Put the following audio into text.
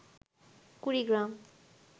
Kurigram